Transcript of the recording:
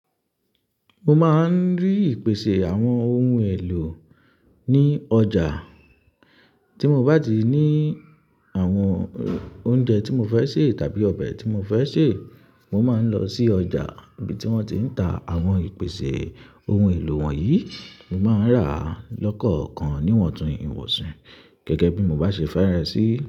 Mo máa ń rí ìpèsè àwọn ohun èlò ní ọjà. Tí mo bá ti ní àwọn oúnjẹ tí mo fẹ́ sè tàbí ọbẹ̀ tí mo fẹ́ sè, mo máa ń lọ sí ọjà ibi tí wọ́n ti ń ta àwọn ìpèsè ohun èlò wọ̀nyí, mo máa ń rà á lọ́kọ̀ọ̀kan níwọ̀n tuntun ìwọ̀sàn gẹ́gẹ́ bí mo bá ṣe fẹ́rẹ̀ sí i.